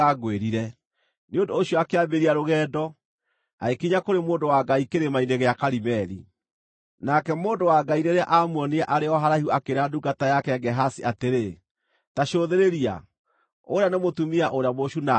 Nĩ ũndũ ũcio akĩambĩrĩria rũgendo, agĩkinya kũrĩ mũndũ wa Ngai Kĩrĩma-inĩ gĩa Karimeli. Nake mũndũ wa Ngai rĩrĩa aamuonire arĩ o haraihu akĩĩra ndungata yake Gehazi atĩrĩ, “Ta cũthĩrĩria! Ũũrĩa nĩ mũtumia ũrĩa Mũshunami!